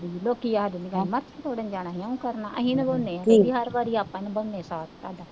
ਲੋਕੀ ਆਖਦੇ ਤੋੜਨ ਜਾਣਾ, ਇਉਂ ਕਰਨਾ, ਅਸੀਂ ਨਿਭਾਉਂਦੇ ਹਾਂ, ਹਰ ਵਾਰੀ ਆਪਾਂ ਨਿਭਾਉਂਦੇ ਹਾਂ ਸਾਥ